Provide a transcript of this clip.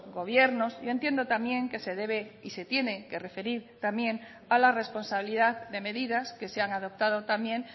gobiernos yo entiendo también que se debe y se tienen que referir también a la responsabilidad de medidas que se han adoptado también